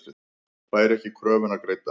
Fær ekki kröfuna greidda